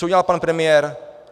Co udělal pan premiér?